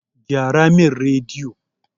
Gyara min rediyo!